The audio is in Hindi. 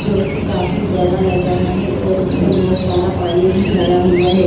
जो कि काफी बड़ा लग रहा है और उसमें बहुत सारा पानी भी भरा हुआ है।